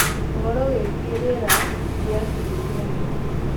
Ũhoro wĩgiĩ rĩera rĩa kiumia gĩkĩ